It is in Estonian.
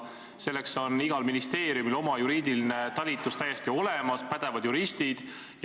Selleks on igal ministeeriumil olemas oma juriidiline talitus, on olemas pädevad juristid.